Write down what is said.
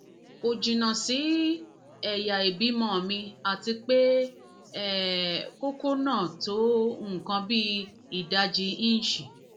kò jìnnà sí ẹyà ìbímọ mi àti pé mi àti pé kókó náà tó nǹkan bí ìdajì íǹṣì